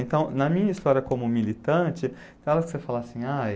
Então, na minha história como militante, tem hora que você fala assim, ai...